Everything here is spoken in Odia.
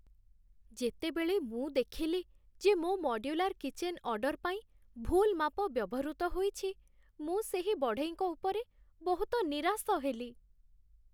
ଯେତେବେଳେ ମୁଁ ଦେଖିଲି ଯେ ମୋ ମଡ୍ୟୁଲାର୍ କିଚେନ୍ ଅର୍ଡର୍ ପାଇଁ ଭୁଲ୍ ମାପ ବ୍ୟବହୃତ ହୋଇଛି, ମୁଁ ସେହି ବଢ଼େଇଙ୍କ ଉପରେ ବହୁତ ନିରାଶ ହେଲି।